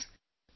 Friends,